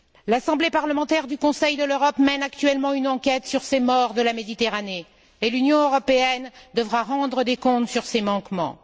L'Assemblée parlementaire du Conseil de l'Europe mène actuellement une enquête sur ces morts de la Méditerranée et l'Union européenne devra rendre des comptes sur ses manquements.